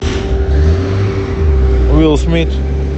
уилл смит